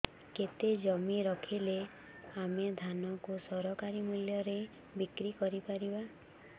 କେତେ ଜମି ରହିଲେ ଆମେ ଧାନ କୁ ସରକାରୀ ମୂଲ୍ଯରେ ବିକ୍ରି କରିପାରିବା